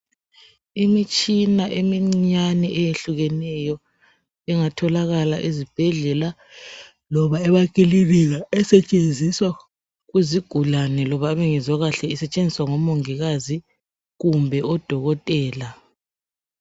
Imitshina emincinyane eyehlukeneyo ingatholakala ezibhedlela loba emakilinika isetshenziswa kuzigulane osetshenzisa ngomongikazi kumbe odokotela .